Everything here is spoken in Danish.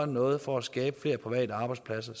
noget for at skabe flere private arbejspladser